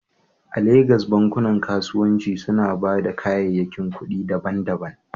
A Legas, bankunan kasuwanci suna ba da kayayyakin kuɗi daban-daban?